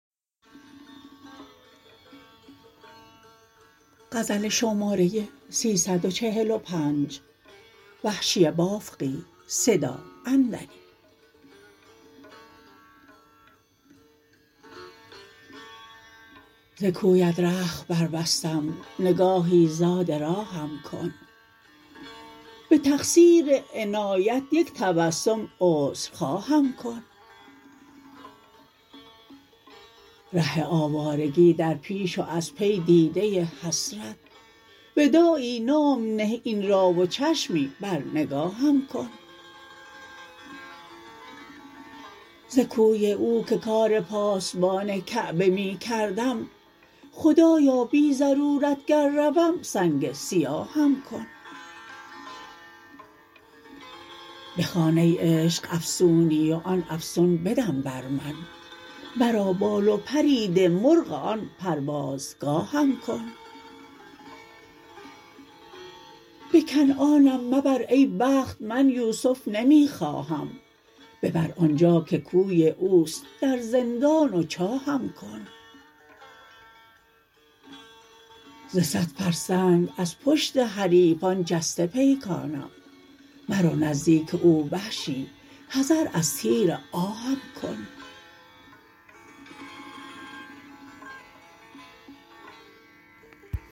ز کویت رخت بربستم نگاهی زاد راهم کن به تقصیر عنایت یک تبسم عذر خواهم کن ره آوارگی در پیش و از پی دیده حسرت وداعی نام نه این را و چشمی بر نگاهم کن ز کوی او که کار پاسبان کعبه می کردم خدایا بی ضرورت گر روم سنگ سیاهم کن بخوان ای عشق افسونی و آن افسون بدم بر من مرا بال و پری ده مرغ آن پرواز گاهم کن به کنعانم مبر ای بخت من یوسف نمی خواهم ببرآنجا که کوی اوست در زندان و چاهم کن ز سد فرسنگ از پشت حریفان جسته پیکانم مرو نزدیک او وحشی حذر از تیر آهم کن